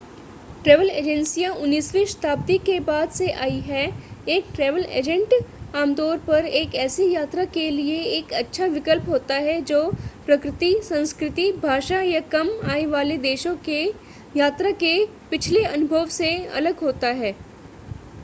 travel एजेंसियां 19 वीं शताब्दी के बाद से आई हैं एक ट्रैवल एजेंट आमतौर पर एक ऐसी यात्रा के लिए एक अच्छा विकल्प होता है जो प्रकृति संस्कृति भाषा या कम आय वाले देशों के यात्रा के पिछले अनुभव से अलग होता है